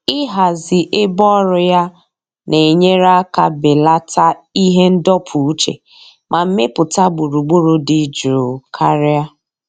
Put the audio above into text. Ịhazi ebe ọrụ ya na-enyere aka belata ihe ndọpụ uche ma mepụta gburugburu dị jụụ karịa.